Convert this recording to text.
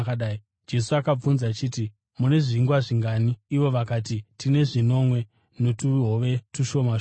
Jesu akabvunza akati, “Mune zvingwa zvingani?” Ivo vakati, “Tine zvinomwe notuhove tushoma shoma.”